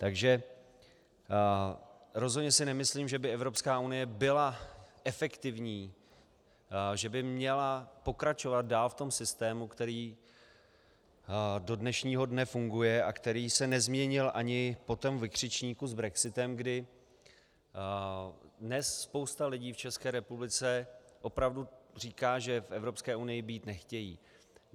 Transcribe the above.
Takže rozhodně si nemyslím, že by Evropská unie byla efektivní, že by měla pokračovat dál v tom systému, který do dnešního dne funguje a který se nezměnil ani po tom vykřičníku s brexitem, kdy dnes spousta lidí v České republice opravdu říká, že v Evropské unii být nechtějí.